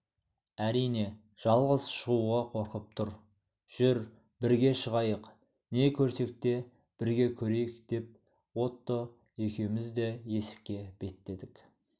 әрине жалғыз шығуға қорқып тұр жүр бірге шығайық не көрсек те бірге көрейік деп отто екеуміз де есікке беттедік